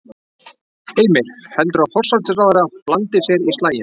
Heimir: Heldurðu að forsætisráðherra blandi sér í slaginn?